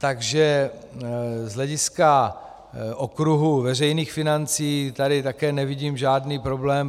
Takže z hlediska okruhu veřejných financí tady také nevidím žádný problém.